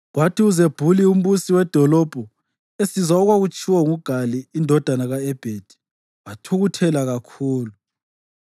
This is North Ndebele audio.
Kwathi uZebhuli umbusi wedolobho esizwa okwatshiwo nguGali indodana ka-Ebhedi, wathukuthela kakhulu.